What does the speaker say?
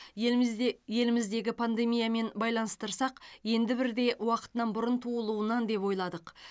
елімізде еліміздегі пандемиямен байланыстырсақ енді бірде уақытынан бұрын туылуынан деп ойладық